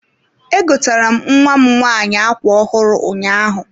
E gotere m nwam nwanyị ákwá ọhụrụ ụnyaahụ.